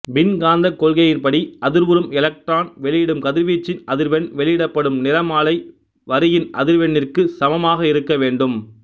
மின் காந்தக் கொள்கையின்படி அதிர்வுறும் எலக்ட்ரான் வெளிவிடும் கதிர்வீச்சின் அதிர்வெண் வெளிவிடப்படும் நிறமாலை வரியின் அதிர்வெண்ணிற்குச் சமமாக இருக்க வேண்டும்